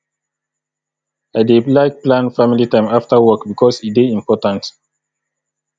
i dey like plan family time after work bikos e dey important